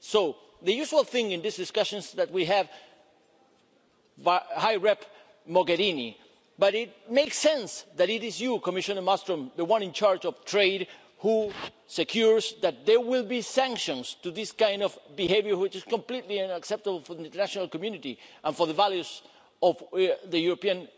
So the usual thing is that we have these discussions with High Representative Mogherini, but it makes sense that it is you Commissioner Malmström, the one in charge of trade, who secures that there will be sanctions to this kind of behaviour, which is completely unacceptable for the international community and for the values of the European